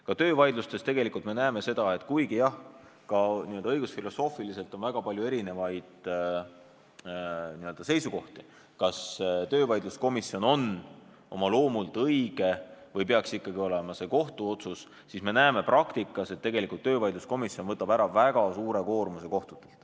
Ka töövaidlustes me näeme, et kuigi n-ö õigusfilosoofiliselt on väga palju erinevaid seisukohti, kas töövaidluskomisjon on oma loomult õige või peaks nendes asjades ikkagi olema kohtuotsus, siis praktikas võtab töövaidluskomisjon kohtutelt ära väga suure koormuse.